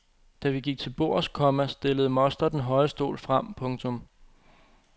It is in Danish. Da vi gik til bords, komma stillede moster den høje stol frem. punktum